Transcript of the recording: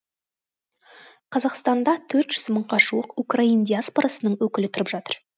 қазақстанда төрт жүз мыңға жуық украин диаспорасының өкілі тұрып жатыр